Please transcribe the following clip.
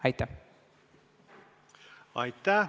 Aitäh!